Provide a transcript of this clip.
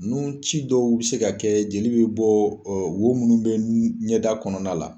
Nunci dɔw bɛ se ka kɛ joli bɛ bɔ wo minnu bɛ ɲɛda kɔnɔna la.